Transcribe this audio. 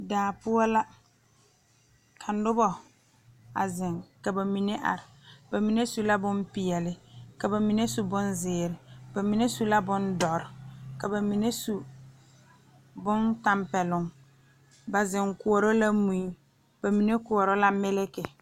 Zie kaŋa la ka ba koɔrɔ kaayɛ a kaayɛ yagle la setɔɔrɛɛ nimitɔɔre noba waa la yaga a kpeɛrɛ a be dɔɔ kaŋ su la kpar peɛle nuwoori a pɛgele kɔŋkɔlee ane Kóɔ a dɔɔ seɛ la kuri sɔgelaa wogi